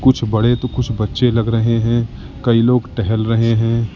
कुछ बड़े तो कुछ बच्चे लग रहे हैं कई लोग टहल रहे हैं।